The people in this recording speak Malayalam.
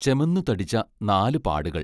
ചെമന്നു തടിച്ച നാലു പാടുകൾ.